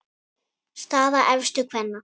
Staða efstu kvenna